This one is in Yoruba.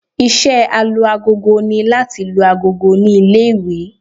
Iṣẹ́ Alu-agogo ni láti lu agogo ní ilé-ìwé